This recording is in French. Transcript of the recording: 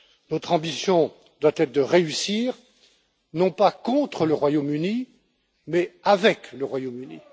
Notre ambition doit être de réussir, non pas contre le Royaume Uni mais avec le Royaume Uni.